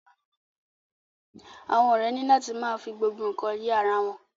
Àwọn ọrẹ ni la ti ma fi gbogbo nkan ye ará wọn.